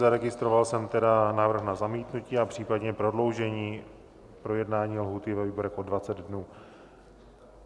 Zaregistroval jsem tedy návrh na zamítnutí a případně prodloužení projednání lhůty ve výborech o 20 dnů.